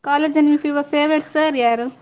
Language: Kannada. College ಅಲ್ಲಿ ನಿಮ್ಮ ಫಿವ~ favourite sir ಯಾರು?